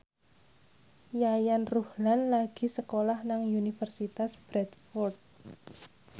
Yayan Ruhlan lagi sekolah nang Universitas Bradford